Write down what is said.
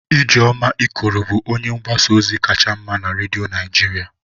Ijeoma Ikoro bụ onye mgbasa ozi kacha mma na redio Naijiria.